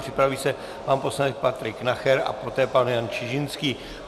Připraví se pan poslanec Patrik Nacher a poté pan Jan Čižinský.